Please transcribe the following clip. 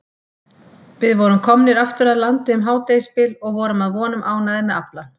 Við vorum komnir aftur að landi um hádegisbil og vorum að vonum ánægðir með aflann.